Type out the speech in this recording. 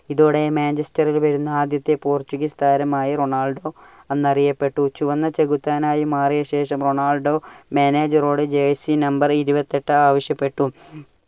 ഇതോടെ Manchester ൽ വരുന്ന ആദ്യത്തെ പോർച്ചുഗീസ് താരമായി റൊണാൾഡോ അന്നറിയപ്പെട്ടു. ചുവന്ന ചെകുത്താനായി മാറിയശേഷം റൊണാൾഡോ manager ഓട് jersey number ഇരുപത്തി എട്ട് ആവശ്യപ്പെട്ടു.